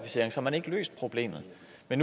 er